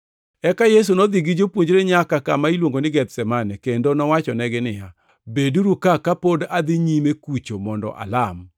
Eka Yesu nodhi gi jopuonjrene nyaka kama iluongo ni Gethsemane, kendo nowachonegi niya, “Beduru ka kapod adhi nyime kucho mondo alam.”